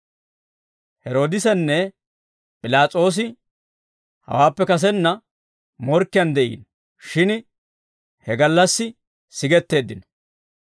Heroodisenne P'ilaas'oosi hawaappe kasenna morkkiyaan de'iino; shin he gallassi sigetteeddino.